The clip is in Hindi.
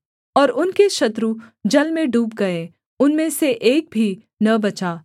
और उनके शत्रु जल में डूब गए उनमें से एक भी न बचा